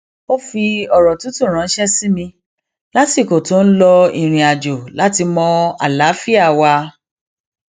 ó fi òrò tútù ránṣé sí mi lásìkò tó ń lọ ìrìnàjò láti mọ àlàáfíà wa